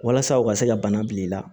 Walasa u ka se ka bana bila i la